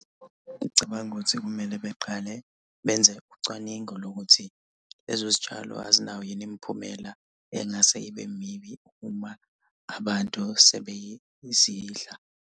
Ngicabanga ukuthi kumele beqale benze ucwaningo lokuthi lezo zitshalo azinayo yini imiphumela engase ibe mibi uma abantu sebezidla.